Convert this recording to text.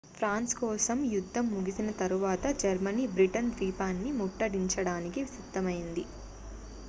France కోసం యుద్ధం ముగిసిన తరువాత జర్మనీ బ్రిటన్ ద్వీపాన్ని ముట్టడించడానికి సిద్ధమయ్యింది